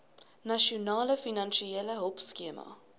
nasionale finansiële hulpskema